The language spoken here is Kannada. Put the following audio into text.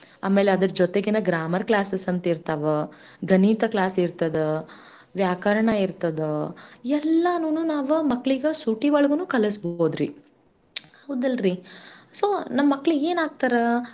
ಅಮೇಲೆ ಅದ್ರ್ ಜೊತೆಗೆನ grammar classes ಅಂತ ಇರ್ತಾವ, ಗಣೀತ class ಇರ್ತದ ವ್ಯಾಕರಣ ಇರ್ತದ ಎಲ್ಲಾನೂನು ನಾವ ಮಕ್ಳೀಗ ಸೂಟೀ ಒಳಗೂನು ಕಲ್ಸ್ಬೌದ್ರಿ ಹೌದಲ್ರಿ? so ನಮ್ ಮಕ್ಳ್ ಏನ್ ಆಗ್ತಾರ.